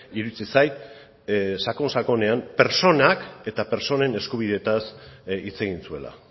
iruditzen zait sakon sakonean pertsonak eta pertsonen eskubideetaz hitz egin zuela